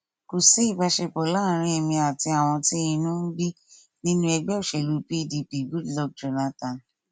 kò sí ìbáṣepọ láàárín èmi àti àwọn tí inú bíi nínú ẹgbẹ òṣèlú pdp goodluck jonathan